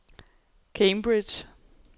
Cambridge